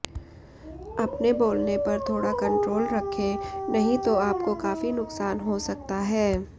अपने बोलने पर थोड़ा कंट्रोल रखें नहीं तो आपको काफी नुकसान हो सकता है